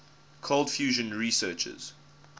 cold fusion researchers